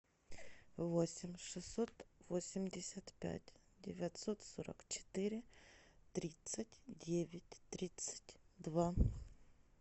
восемь шестьсот восемьдесят пять девятьсот сорок четыре тридцать девять тридцать два